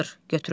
Götürürlər.